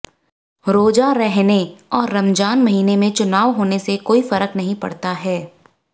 रोजा रहने और रमजान महीने में चुनाव होने से कोई फर्क नहीं पड़ता है